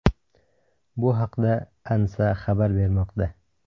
Bu haqda ANSA xabar bermoqda .